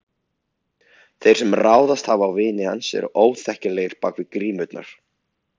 Þeir sem ráðist hafa á vini hans eru óþekkjanlegir bak við grímurnar.